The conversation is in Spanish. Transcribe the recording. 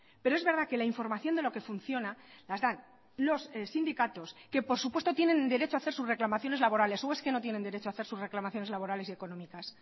pero es verdad que la información de lo que funciona las dan los sindicatos que por supuesto tienen derecho a hacer sus reclamaciones laborales o es que no tienen derecho a hacer sus reclamaciones laborales y económicas